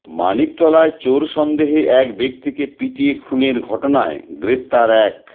মানিকতলায় চোর সন্দেহে এক ব্যক্তিকে পিটিয়ে খুনের ঘটনায় গ্রেফতার এক